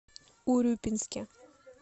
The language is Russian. урюпинске